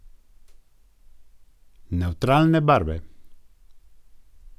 Nevtralne barve.